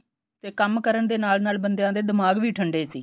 ਤੇ ਕੰਮ ਕਰਨ ਦੇ ਨਾਲ ਨਾਲ ਬੰਦਿਆ ਦੇ ਦਿਮਾਗ ਵੀ ਠੰਡੇ ਸੀ